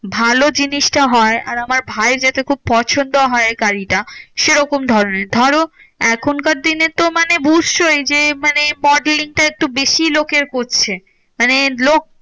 ভালো জিনিসটা হয় আর আমার ভায়ের যাতে খুব পছন্দ হয় গাড়িটা সেরকম ধরণের। ধরো এখনকার দিনে তো মানে বুঝছোই যে মানে modeling টা একটু বেশি লোকের করছে। মানে লোক